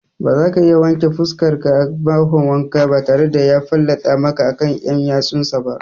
Bazaka iya wanke fuskarka a bahon wanka batare da ya fallatsa maka akan ƴan ƴatsunsa ba